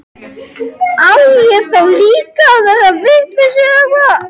Á ég þá líka að verða vitlaus eða hvað?